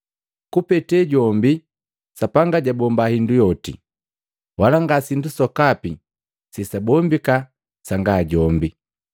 Kupete jombi, Sapanga jabomba hindu yoti, wala nga sindu sokapi sesabombika sanga jombi.